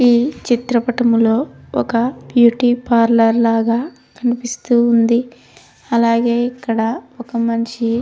ఈ చిత్రపటంములో ఒక బ్యూటీపార్లర్ లాగా కనిపిస్తూ ఉన్నది. అలగే ఇక్కడ ఒక మనషి--